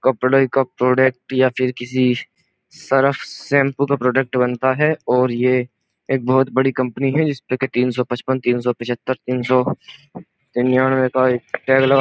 कपड़े का प्रोडक्ट या फिर किसी सर्फ शैंपू का प्रोडक्ट बनता है और ये एक बोहोत बड़ी कंपनी है जिस पर तीन सौ पचपन तीन सौ पिचहत्तर तीन सौ तीन सौ निन्यानवे का एक टैग लगा --